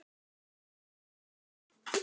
Hann var góður maður.